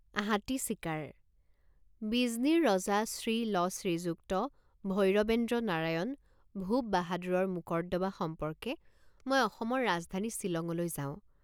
হাতী চিকাৰ বিজনীৰ ৰজা শ্ৰী ল শ্ৰীযুক্ত ভৈৰবেন্দ্ৰ নাৰায়ণ ভূপ বাহাদুৰৰ মোকৰ্দমা সম্পৰ্কে মই অসমৰ ৰাজধানী ছিলঙলৈ যাওঁ।